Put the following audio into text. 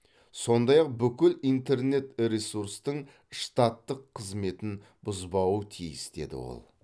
сондай ақ бүкіл интернет ресурстың штаттық қызметін бұзбауы тиіс деді ол